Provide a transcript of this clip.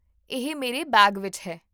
ਇਹ ਮੇਰੇ ਬੈਗ ਵਿੱਚ ਹੈ